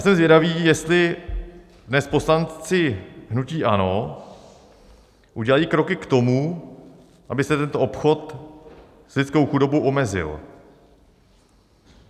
Jsem zvědavý, jestli dnes poslanci hnutí ANO udělají kroky k tomu, aby se tento obchod s lidskou chudobou omezil.